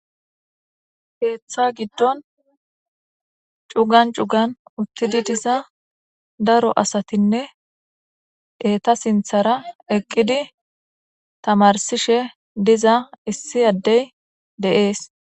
Keththa giddon cugan cugan uttidi diza daro asatinne eeta sinthara eqqidi tamarsishe diza issi addey dees.